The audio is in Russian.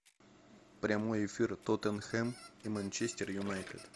прямой эфир тоттенхэм и манчестер юнайтед